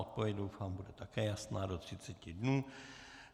Odpověď doufám bude také jasná do třiceti dnů.